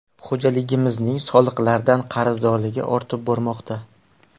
Xo‘jaligimizning soliqlardan qarzdorligi ortib bormoqda.